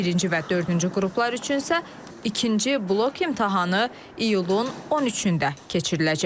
Birinci və dördüncü qruplar üçün isə ikinci blok imtahanı iyulun 13-ündə keçiriləcək.